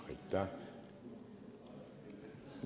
Aitäh!